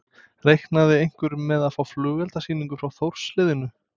Reiknaði einhver með að fá flugeldasýningu frá Þórs liðinu?